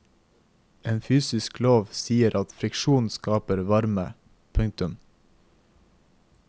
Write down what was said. En fysisk lov sier at friksjon skaper varme. punktum